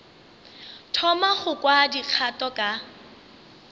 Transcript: thoma go kwa dikgato ka